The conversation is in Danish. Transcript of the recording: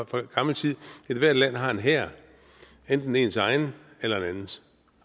fra gammel tid at ethvert land har en hær enten ens egen eller en andens